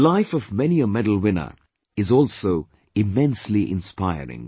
The life of many a medal winner is also immensely inspiring